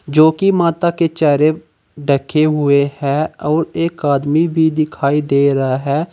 जो कि माता के चेहरे ढके हुए है और एक आदमी भी दिखाई दे रहा है।